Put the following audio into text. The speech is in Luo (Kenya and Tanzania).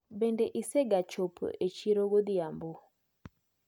Bende isegachopo e chiro godhiambo?